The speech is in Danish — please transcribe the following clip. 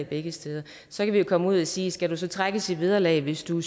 begge steder så kan vi jo komme ud og sige at skal du så trækkes i vederlag hvis du